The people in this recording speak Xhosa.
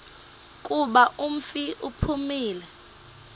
kuba umfi uphumile